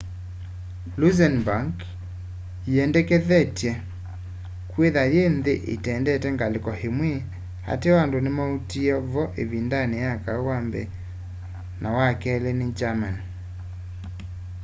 luxembourg yiendekethetye kwithwa yi nthi itendete ngaliko imwe ateo andu nimatuie vo ivindani ya kau wa mbee na wa keli ni germany